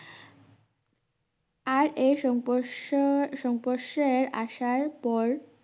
আর এই সংপরশ সংপরশের আসার পর